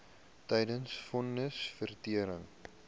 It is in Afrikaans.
tydens von nisverrigtinge